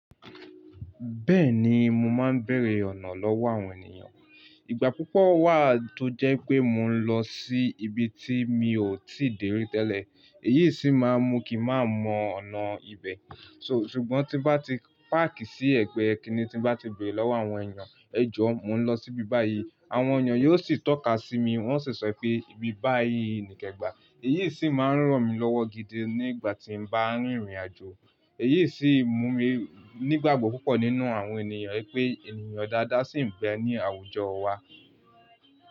Bẹ́ẹ̀ni mo máa ń beere ọ̀nà lọ́wọ́ àwọn ènìyàn. Ìgbà púpọ̀ wà tó jẹ́ pé mò ń lọ sí ibi tí mi ò tìí de tẹ́lẹ̀, èyí sì máa ń mú kí n mà mọ ọ̀nà ibẹ̀. Ṣùgbọ́n tí bá ti páàkì sí ẹ̀gbẹ́ ẹ kíni tí bá ti bẹ̀rẹ̀ lọ́wọ́ àwọn ènìyàn. "Ẹ jọ̀, mò ń lọ sí ibi báyìí." Àwọn ènìyàn yóò sì tọ́ka sí mi wọ́n ó sì sọ pé, "Ibi báyìí," ní kẹ́gbà. Èyí sì máa ń ràn mí lọ́wọ́ gidi nígbà tí mà ń rìnrìn àjò. Èyí sì mú mi nígbàgbọ́ púpọ̀ nínú àwọn ènìyàn pé ènìyàn dáadáa sì ń bẹ ní àwùjọ wá.